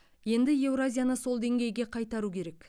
енді еуразияны сол деңгейге қайтару керек